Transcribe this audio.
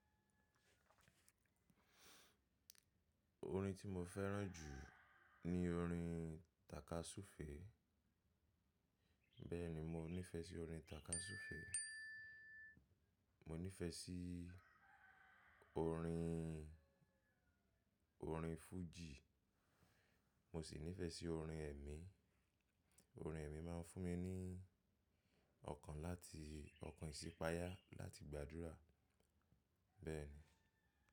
Orin tí mo fẹ́ràn jù ní orin tàkasúfèé. Bẹ́ẹ̀ni mo nífẹ̀ẹ́ sí orin tàkasúfèé, mo nífẹ̀ẹ́ sí orin, orin fújì, mo sì nífẹ̀ẹ́ sí orin ẹ̀mí. Orin ẹ̀mí máa ń fún mi ní ọkàn láti ọkàn ìṣípayá láti gbàdúrà. Bẹ́ẹ̀ni.